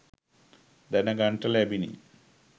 දැනගන්නට ලැබිණ